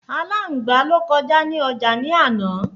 Àláǹgbá ló kọjá ní ọjà ni àná